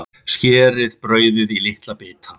Skerið brauðið í litla bita.